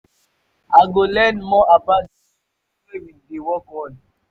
i go learn more about di new project wey we dey work on.